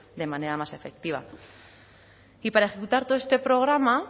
de manera más efectiva y para ejecutar todo este programa